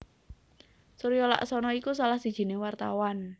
Suryo Laksono iku salah sijiné wartawan